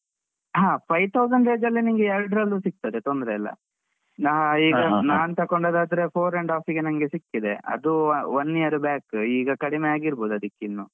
ಹಾ five thousand range ಅಲ್ಲಿ ನಿಂಗೆ ಎರಡ್ರಲ್ಲೂ ಸಿಗ್ತದೆ ತೊಂದ್ರೆ ಇಲ್ಲ. ನಾನ್ ತಕೊಂಡದಾದ್ರೆ four and half ಗೆ ನಂಗೆ ಸಿಕ್ಕಿದೆ. ಅದೂ one year back ಈಗ ಕಡಿಮೆ ಆಗಿರ್ಬೋದು ಅದಕ್ಕಿನ್ನೂ.